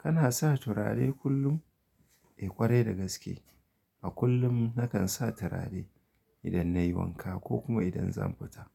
Kana sa turare kullum? Eh kwarai da gaske. A kullum nakan sa turare idan nayi wanka ko kuma idan zan fita.